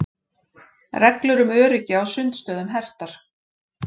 Reglur um öryggi á sundstöðum hertar